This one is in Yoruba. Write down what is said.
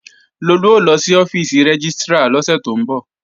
Lolú ó lọ sí ọ́fíìsì rẹ́gístrà lọ́sẹ̀ tó ń bọ̀